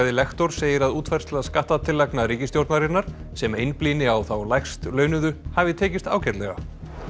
hagfræðilektor segir að útfærsla skattatillagna ríkisstjórnarinnar sem einblíni á þá lægst launuðu hafi tekist ágætlega